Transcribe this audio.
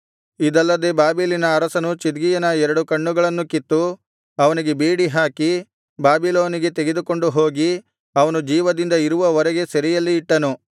ಇದಲ್ಲದೆ ಬಾಬೆಲಿನ ಅರಸನು ಚಿದ್ಕೀಯನ ಎರಡು ಕಣ್ಣುಗಳನ್ನೂ ಕಿತ್ತು ಅವನಿಗೆ ಬೇಡಿ ಹಾಕಿ ಬಾಬಿಲೋನಿಗೆ ತೆಗೆದುಕೊಂಡು ಹೋಗಿ ಅವನು ಜೀವದಿಂದ ಇರುವವರೆಗೆ ಸೆರೆಯಲ್ಲಿ ಇಟ್ಟನು